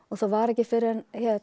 það var ekki fyrr en